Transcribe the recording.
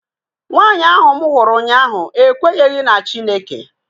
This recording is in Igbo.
Nwanyị ahu mụ hụrụ ụnyaahụ ekwenyeghi na Chineke